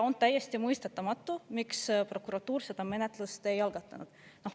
On täiesti mõistetamatu, miks prokuratuur seda menetlust ei algatanud.